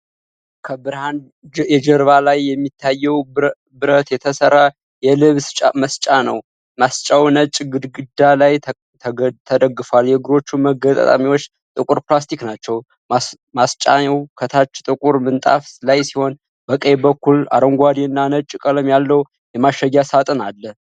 ከብርሃን የጀርባ ላይ የሚታየው ብረት የተሰራ የልብስ ማስጫ ነው። ማስጫው ነጭ ግድግዳ ላይ ተደግፏል፤ የእግሮቹ መገጣጠሚያዎች ጥቁር ፕላስቲክ ናቸው። ማስጫው ከታች ጥቁር ምንጣፍ ላይ ሲሆን፣ በቀኝ በኩል አረንጓዴና ነጭ ቀለም ያለው የማሸጊያ ሣጥን አለ።